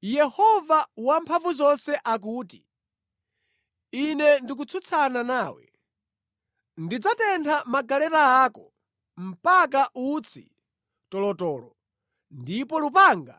Yehova Wamphamvuzonse akuti, “Ine ndikutsutsana nawe. Ndidzatentha magaleta ako mpaka utsi tolotolo, ndipo lupanga